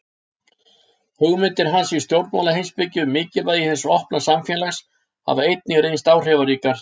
Hugmyndir hans í stjórnmálaheimspeki um mikilvægi hins opna samfélags hafa einnig reynst áhrifaríkar.